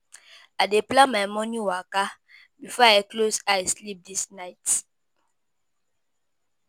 I dey plan my morning waka before I close eye sleep this night.